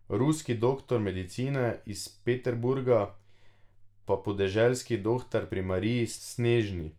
Ruski doktor medicine iz Peterburga, pa podeželski dohtar pri Mariji Snežni.